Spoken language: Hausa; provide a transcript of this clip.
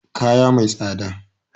Kaya mai tsada